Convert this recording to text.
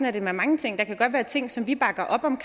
er det med mange ting der kan godt være ting som vi bakker op om